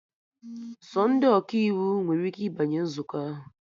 Sọ ndị Ọkaiwu nwere ike ịbanye nzukọ ahụ